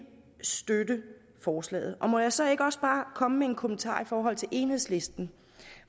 støtte forslaget må jeg så ikke også bare komme med en kommentar i forhold til enhedslisten